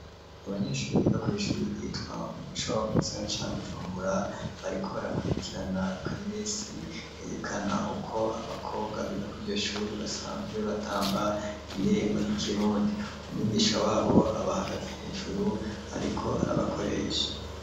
Abanyeshure biga kw’ ishuri ryitwa umuco mu gisaga ca bujumbura bariko barakurikirana akareresi kerekana uko abakobwa biga kwiryo shuri basanzwe batamba indirimbo z'ikirundi ,umwigisha wabo abahagaze hejuru ariko arabakoresha.